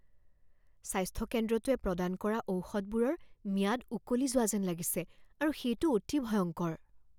স্বাস্থ্য কেন্দ্ৰটোৱে প্ৰদান কৰা ঔষধবোৰৰ ম্যাদ উকলি যোৱা যেন লাগিছে আৰু সেইটো অতি ভয়ংকৰ।